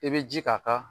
I bɛ ji k'a kan